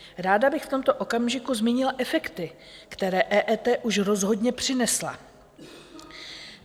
Ráda bych v tomto okamžiku zmínila efekty, které EET už rozhodně přinesla.